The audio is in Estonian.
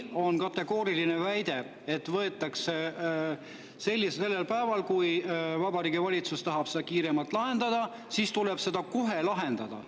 On kategooriline väide, et võetakse sellel päeval, ja kui Vabariigi Valitsus tahab seda kiiremalt lahendada, siis tuleb seda kohe lahendada.